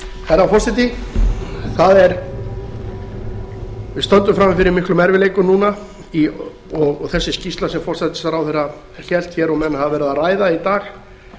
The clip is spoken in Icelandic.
herra forseti við stöndum frammi fyrir miklum erfiðleikum núna og þessi skýrsla sem hæstvirtur forsætisráðherra hélt hér og menn hafa verið að ræða í dag